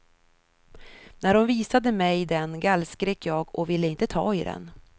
När hon visade mig den gallskrek jag och ville inte ta i den.